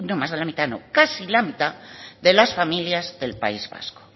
más de la mitad no casi la mitad de las familias del país vasco